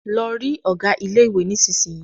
Lọ rí ọ̀gá ilé ìwé nísisìyìí!